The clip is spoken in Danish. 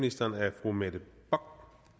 og